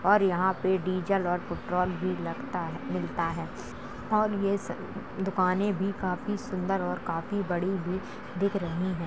और यहाँ पे डीजल और पेट्रोल भी लगता है मिलता है और ये स दुकानें भी काफी सुंदर और काफी बड़ी भी दिख रहीं हैं।